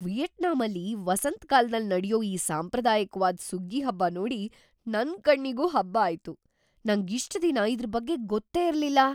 ವಿಯೆಟ್ನಾಮಲ್ಲಿ ವಸಂತಕಾಲ್ದಲ್ ನಡ್ಯೋ ಈ ಸಾಂಪ್ರದಾಯಿಕ್ವಾದ್ ಸುಗ್ಗಿ ಹಬ್ಬ ನೋಡಿ ನನ್‌ ಕಣ್ಣಿಗೂ ಹಬ್ಬ ಆಯ್ತು! ನಂಗ್‌ ಇಷ್ಟ್‌ ದಿನ ಇದ್ರ್‌ ಬಗ್ಗೆ ಗೊತ್ತೇ ಇರ್ಲಿಲ್ಲ.